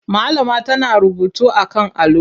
Malama tana rubutu a kan allo.